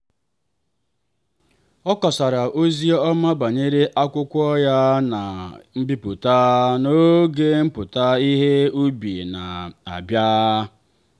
ọ kọsara ozi ọma banyere akwụkwọ ya a na-ebipụta n'oge mpụta ihe ubi na-abịa.